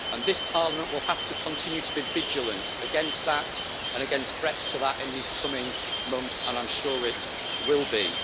This Parliament will have to continue to be vigilant against that and against threats to that in these coming months, and I am sure it will be.